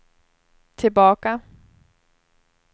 tillbaka